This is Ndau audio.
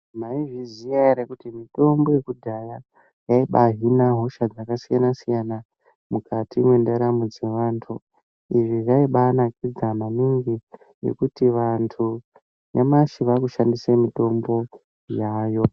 Maizviziva here kuti mitombo yekudhaya yaibahina hosha dzakasiyana mukati mendaramo dzevanhu izvi zvaimbanakidza maningi ngekuti nyamashi antu ave kushandisa mitombo yayo .